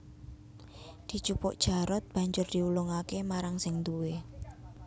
Dijupuk Jarot banjur diulungake marang sing duwé